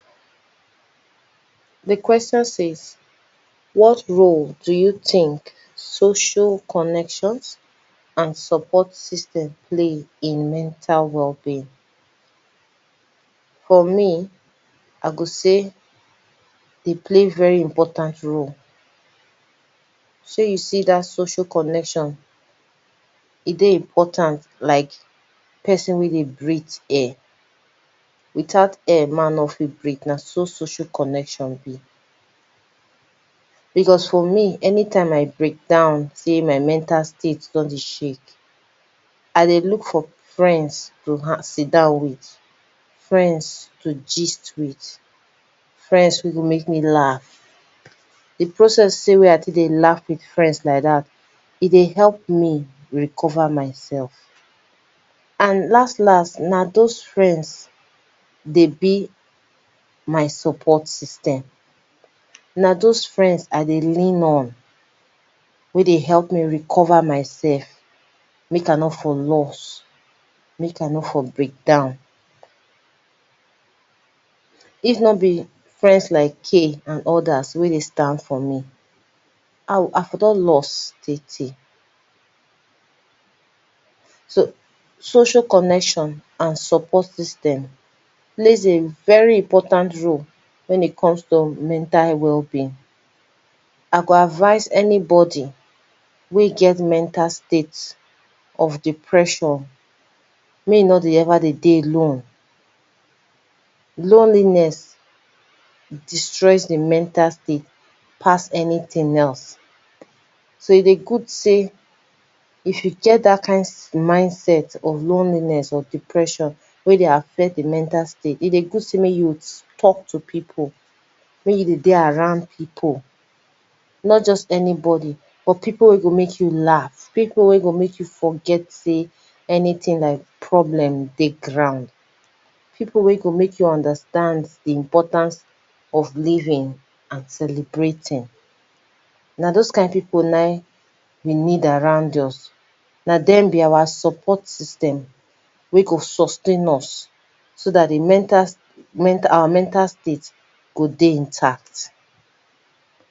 Di question says what role do you think social connection and support system play in mental wellbeing? For me I go sey, dey play very important role, shey you see dat social connection, I dey important like person wey breathe air, without air man nor fit breathe na so social connection be. Because for me anytime I breakdown sey my mental state don dey shake, I dey look for friends, to sit down with friends to gist with, friends wey go make me laugh, di process wey I take dey laugh with friends like dat, e dey help me recover myself, and last last, na doz friends dey be my support system, na doz friends I dey lean on wey dey help me recover myself, make I nor for loss, make I nor for breakdown. If nor be friends like K and odas wey dey stand for me, I for don lost tey tey. So social connections and support system plays a very important role wen it comes to mental wellbeing, I go advice anybody wey get mental state of depression make e never dey dey alone. Loneliness destroys di mental state pass anything else, so e dey good sey if you get dat kind mindset of loneliness or depression wey dey affect di mental state, e dey good sey make you talk to people, make you dey dey around people, not just anybody, people wey go make you laugh, people wey go make you forget sey anything like problem dey ground, people wey go make you understand di importance of living and celebrating na doz kind people na im we need around us, na dem be our support system, wey go su s tain us, so dat di mental our mental state go dey intact.